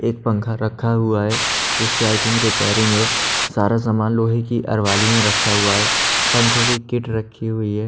एक पंखा रखा हुआ है इसकी आय थिंक रिपेयरिंग है सारा सामान लोहे की अलमारी में रखा हुआ है पंखोंकी किट रखी हुयी है।